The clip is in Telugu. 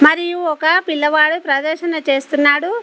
మరియు ఒక పిల్లవాడు ప్రదర్శన చేస్తున్నాడు.